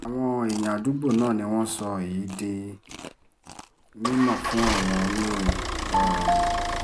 àwọn èèyàn àdúgbò náà ni wọ́n sọ èyí um di mímọ̀ fún àwọn oníròyìn um